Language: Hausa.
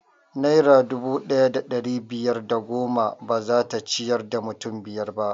Naira dubu ɗaya da ɗari biyar da goma bazata ciyar da mutum biyar ba